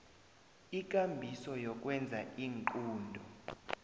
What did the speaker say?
ikambiso yokwenza iinqunto